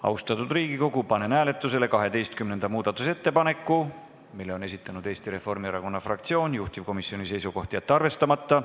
Austatud Riigikogu, panen hääletusele 12. muudatusettepaneku, mille on esitanud Eesti Reformierakonna fraktsioon, juhtivkomisjoni seisukoht: jätta see arvestamata.